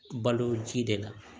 Balo ji de la